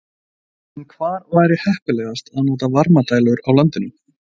En hvar væri heppilegast að nota varmadælur á landinu?